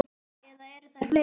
Eða eru þær fleiri?